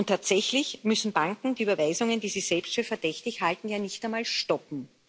Tatsächlich müssen Banken die Überweisungen, die sie selbst für verdächtig halten, ja nicht einmal stoppen.